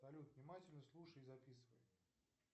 салют внимательно слушай и записывай